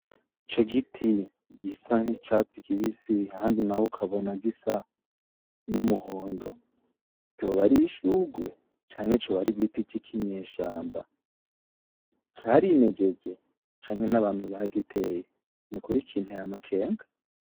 Ico giti gisa nkicatsi kibisi ahandi naho ukabona gisa numuhondo ryoba ari ishurwe canke coba ari igiti cikinyeshamba carimejeje canke n'abantu bagiteye nukuri kinteye amakenga.